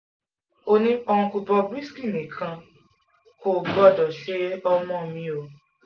ó ní uncle bob risky nǹkan kan kò gbọ́dọ̀ ṣe ọmọ mi o